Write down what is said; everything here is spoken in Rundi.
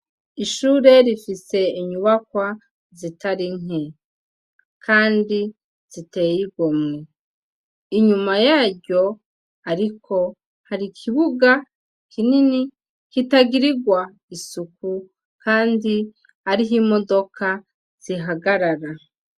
Ishure rifise inyubakwa zitari nke, kandi ziteye igomwe, inyuma yaryo ariko hari ikibuga kinini kitagirirwa isuku kandi ariho imodoka zihagarara.